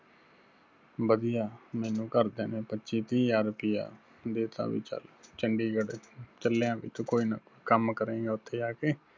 ਵਧੀਆ ਮੈਨੂੰ ਘਰ ਦਿਆਂ ਨੇ ਪੱਚੀ ਤੀਹ ਹਜ਼ਾਰ ਰੁਪਈਆ ਦੇ ਤਾ ਵੀ ਚਲ ਚੰਡੀਗੜ੍ਹ ਚਲਿਆਂ ਬੀ ਤੂੰ ਕੋਈ ਨਾ ਕੋਈ ਕੰਮ ਕਰੇਂਗਾ ਉੱਥੇ ਜਾ ਕੇ